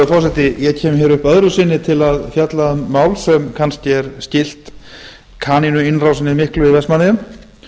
virðulegur forseti ég kem hér upp öðru sinni til að fjalla um mál sem kannski er skylt kanínuinnrásinni miklu í